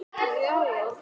Viltu pæla í heppni!